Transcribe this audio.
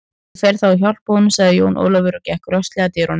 Ég fer þá að hjálpa honum, sagði Jón Ólafur og gekk rösklega að dyrunum.